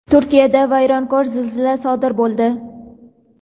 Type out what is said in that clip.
Turkiyada vayronkor zilzila sodir bo‘ldi.